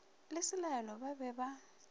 le selaelo ba be ba